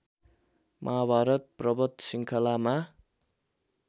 महाभारत पर्वत श्रृङ्खलामा